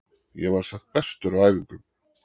Ég var samt bestur á æfingum.